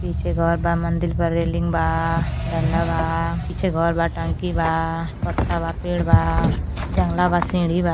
पीछे घर बा मंदिर बा रेलिंग बा डंडा बा पीछे घर बा टंकी बा पत्ता बा पेड़ बा जंगला बा सीढ़ी बा।